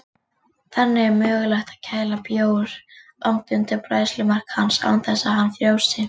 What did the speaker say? Þannig er mögulegt að kæla bjór langt undir bræðslumark hans án þess að hann frjósi.